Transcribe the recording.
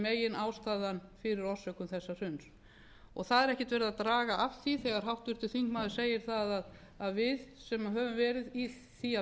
meginástæðan fyrir orsökum þessa hruns það er ekkert verið að draga af því þegar háttvirtur þingmaður segir að við sem höfum verið í því að